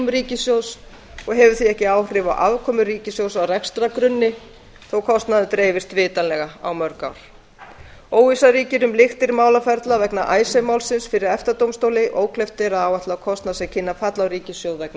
ríkissjóðs og hefur því ekki áhrif á afkomu ríkissjóðs á rekstrargrunni þó kostnaðurinn dreifist vitanlega á mörg ár óvissa ríkir um lyktir málaferla vegna icesave málsins fyrir efta dómstóli ókleift er að áætla kostnað sem kynni að falla á ríkissjóð vegna